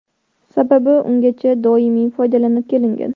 Sababi ungacha doimiy foydalanib kelingan.